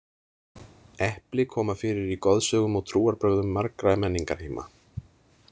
Epli koma fyrir í goðsögum og trúarbrögðum margra menningarheima.